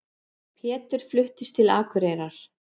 Pétur fluttist til Akureyrar.